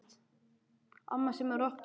Amma semur rokktónlist.